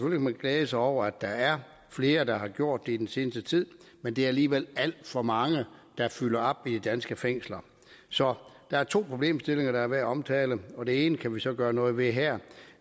man glæde sig over at der er flere der har gjort det i den seneste tid men der er alligevel alt for mange der fylder op i de danske fængsler så der er to problemstillinger der er værd at omtale det ene kan vi så gøre noget ved her